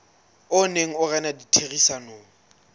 o neng o rena ditherisanong